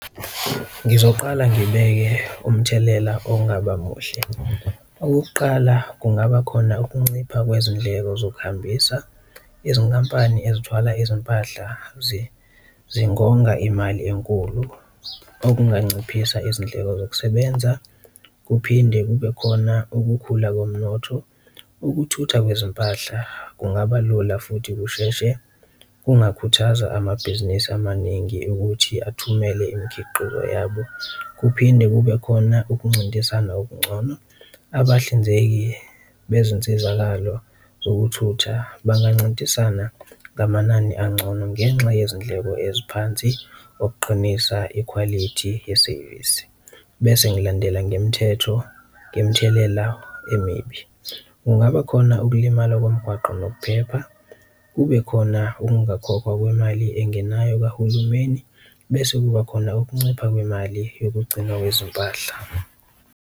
Ngizoqala ngibeke umthelela okungaba muhle. Okokuqala, kungaba khona ukuncipha kwezindleko zokuhambisa, izinkampani ezithwala izimpahla zingonga imali enkulu okunganciphisa izindleko zokusebenza, kuphinde kube khona ukukhula komnotho, ukuthuthwa kwezimpahla kungaba lula futhi kusheshe, kungakhuthaza amabhizinisi amaningi ukuthi athumele imikhiqizo yabo. Kuphinde kube khona ukuncintisana okuncono, abahlinzeki bezinsizakalo zokuthutha bangancintisana ngamanani ancono ngenxa yezindleko eziphansi okuqinisa ikhwalithi yesevisi. Bese ngilandela ngemithetho ngemithelela la emibi, kungaba khona ukulimala komgwaqo nokuphepha, kube khona ungakhokhwa kwemali engenayo kahulumeni, bese kuba khona ukuncipha kwemali yokugcinwa kwezimpahla.